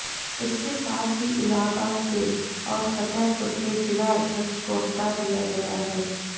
इसके साथ ही इलाहाबाद के और फतेहपुर के जिला अध्यक्ष को हटा दिया गया है